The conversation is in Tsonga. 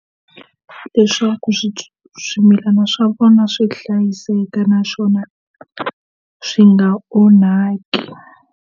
Leswaku swimilana swa vona swi hlayiseka naswona swi nga onhaki.